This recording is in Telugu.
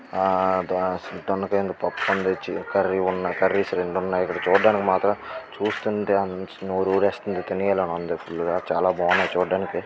ఆ దొండకాయ ఉంది .పప్పు ఉంది. కర్రీ ఉంది. కర్రీస్ రెండు ఉన్నాయి. చూడడానికి మాత్రం చూస్తుంటే నోరు ఊరేస్తుంది. తినేయాలని ఉంది.